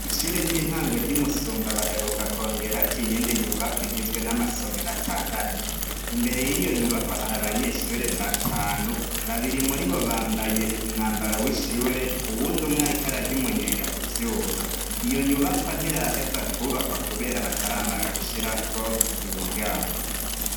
Ishuri ry'intango ry'Imusumba baheruka kwongerako iyindi nyubakwa igizwe n'amasomero atandatu , imber yiyo nyubakwa har'abanyeshure batanu, babiri muribo bambaye umwambaro w'ishure, uwund'umwe ariko ararya umunyenga kuvyuma. Iyo nyubakwa ntiraheza kwubakwa kubera bataramara gushirako imiryango.